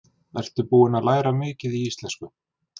Ertu búin að læra mikið í íslensku?